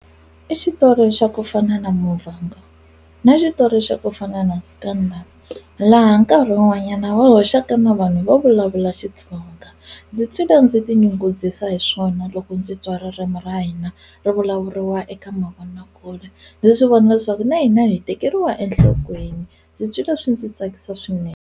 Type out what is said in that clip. I xitori xa ku fana na Muvhango na xitori xa ku fana na Scandal laha nkarhi wun'wanyana va hoxaka na vanhu vo vulavula Xitsonga ndzi titwa ndzi ti nyungubyisa hi swona loko ndzi twa ririmu ra hina ri vulavuriwa eka mavonakule ndzi swi vona swa ku na hina hi tekeriwa enhlokweni ndzi twile swi ndzi tsakisa swinene.